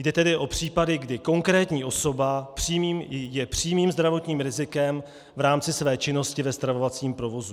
Jde tedy o případy, kdy konkrétní osoba je přímým zdravotním rizikem v rámci své činnosti ve stravovacím provozu.